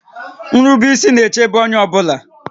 Nrube ísí na-èchébé onyé ọ bụla